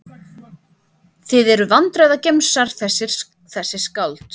Þið eruð vandræðagemsar þessi skáld.